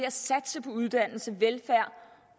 at satse på uddannelse velfærd